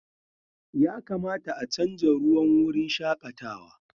Ya kamata a chanza ruwan wurin shakatawa.